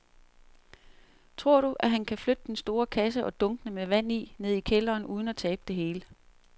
Tror du, at han kan flytte den store kasse og dunkene med vand ned i kælderen uden at tabe det hele?